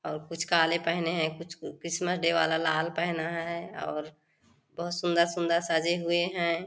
और कुछ काले पहने है कुछ क्रिसमस डे वाला लाल पहना है और बहोत सुन्दर-सुन्दर सजें हुए हैं।